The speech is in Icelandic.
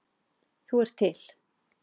Þú ert til.